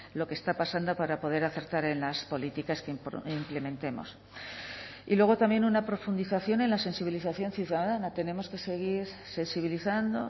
lo que está pasando para poder acertar en las políticas que implementemos y luego también una profundización en la sensibilización ciudadana tenemos que seguir sensibilizando